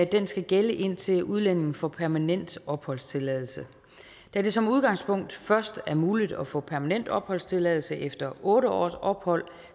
den skal gælde indtil udlændingen får permanent opholdstilladelse da det som udgangspunkt først er muligt at få permanent opholdstilladelse efter otte års ophold